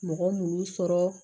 Mɔgɔ minnu sɔrɔ